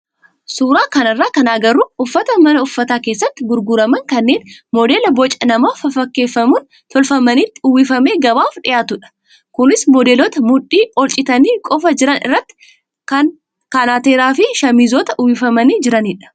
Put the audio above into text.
Suuraa kanarraa kan agarru uffata mana uffataa keessatti gurguraman kanneen modeela boca nama fafakkeeffamuun tolfamanitti uwwifamee gabaaf dhiyaatudha. Kunis modeelota mudhii ol citanii qofaa jiran irratti kanateeraa fi shaamizoota uwwifamanii jiranidha.